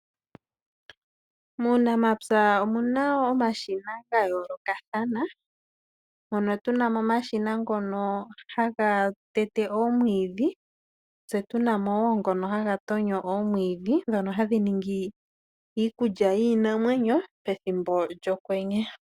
Muunamapya omuna omashina gayoolokathana mono tuna mo omashina ngono haga tete omwiidhi. Tse tuna mo woo ngono haga tonyo omwiidhi ndhono hadhi ningi iikulya yiinamwenyo pethimbo lyokwenye.